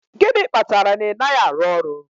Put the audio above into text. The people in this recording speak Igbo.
Gịnị kpatara na ị naghị arụ ọrụ